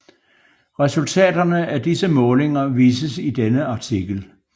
Resultaterne af disse målinger vises i denne artikel